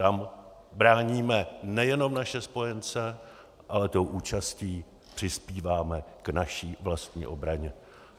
Tam bráníme nejenom naše spojence, ale tou účastí přispíváme k naší vlastní obraně.